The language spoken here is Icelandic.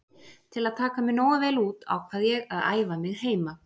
Til að taka mig nógu vel út ákvað ég að æfa mig heima.